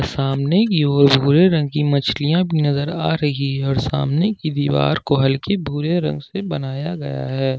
सामने की ओर भूरे रंग की मछलियां भी नजर आ रही है और सामने की दीवार को हल्के भूरे रंग से बनाया गया है।